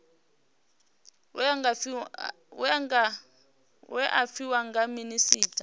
we a fhiwa nga minisita